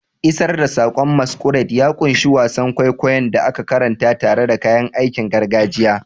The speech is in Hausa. Isar da saƙon masquerade ya ƙunshi wasan kwaikwayon da aka karanta tare da kayan aikin gargajiya.